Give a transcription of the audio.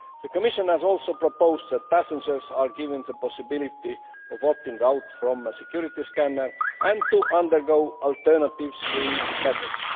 The Commission has also proposed for passengers to be given the possibility of opting out from a security scan and of undergoing alternative screening methods.